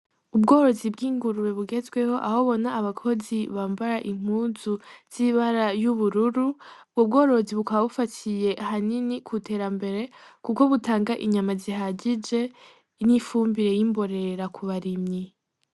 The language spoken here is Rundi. Ubworozi bw'ingurube bugazweho aho Ubona abakozi bambara impuzu z'ibara y'ubururu ubwo bworozi bukaba bufatiye ahanini Ku terambere Kuko butanga inyama zihagije n'ifumbire y'imborera ku barimyi.